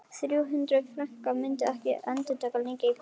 Þrjú hundruð frankar myndu ekki endast lengi í París.